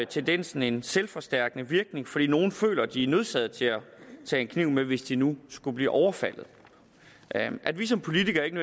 tendensen en selvforstærkende virkning fordi nogle føler at de er nødsaget til at tage en kniv med hvis de nu skulle blive overfaldet at vi som politikere ikke